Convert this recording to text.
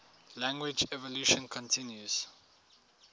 language evolution continues